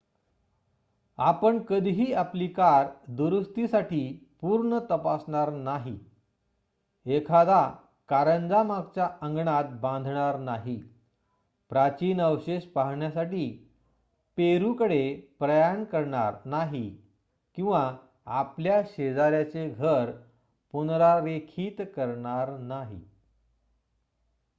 आपण कधीही आपली कार दुरुस्तीसाठी पूर्ण तपासणार नाही एखादा कारंजा मागच्या अंगणात बांधणार नाही प्राचीन अवशेष पाहण्यासाठी पेरुकडे प्रयाण करणार नाही किवा आपल्या शेजाऱ्याचे घर पुनरारेखीत करणार नाही